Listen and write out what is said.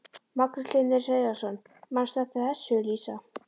Magnús Hlynur Hreiðarsson: Manstu eftir þessu Lísa?